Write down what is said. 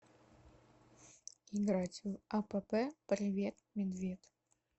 играть в апп привет медвед